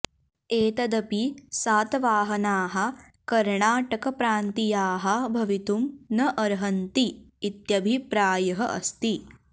एतदपि सातवाहनाः कर्णाटकप्रान्तीयाः भवितुं न अर्हन्ति इत्यभिप्रायः अस्ति